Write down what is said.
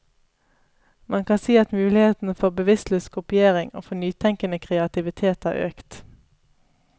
Man kan si at muligheten både for bevisstløs kopiering og for nytenkende kreativitet har økt.